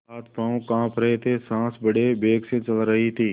हाथपॉँव कॉँप रहे थे सॉँस बड़े वेग से चल रही थी